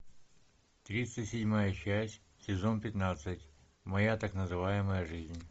тридцать седьмая часть сезон пятнадцать моя так называемая жизнь